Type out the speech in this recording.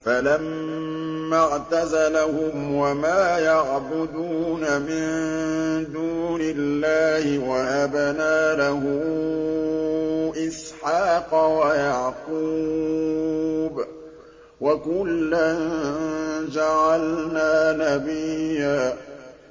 فَلَمَّا اعْتَزَلَهُمْ وَمَا يَعْبُدُونَ مِن دُونِ اللَّهِ وَهَبْنَا لَهُ إِسْحَاقَ وَيَعْقُوبَ ۖ وَكُلًّا جَعَلْنَا نَبِيًّا